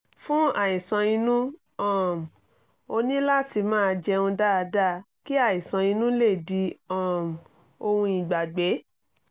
fún àìsàn inú um ó ní láti máa jẹun dáadáa kí àìsàn inú lè di um ohun ìgbàgbé